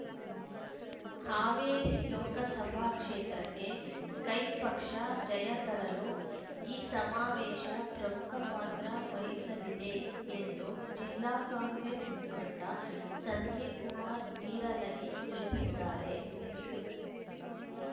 ಹಾವೇರಿ ಲೋಕಸಭಾ ಕ್ಷೇತ್ರಕ್ಕೆ ಕೈ ಪಕ್ಷ ಜಯ ತರಲು ಈ ಸಮಾವೇಶ ಪ್ರಮುಖ ಪಾತ್ರ ವಹಿಸಲಿದೆ ಎಂದು ಜಿಲ್ಲಾ ಕಾಂಗ್ರೆಸ್ ಮುಖಂಡ ಸಂಜೀವ್ ಕುಮಾರ್ ನೀರಲಗಿ ತಿಳಿಸಿದ್ದಾರೆ